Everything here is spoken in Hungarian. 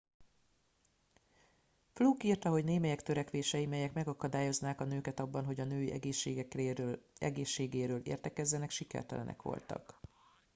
fluke írta hogy némelyek törekvései melyek megakadályoznák a nőket abban hogy a női egészségéről értekezzenek sikertelenek voltak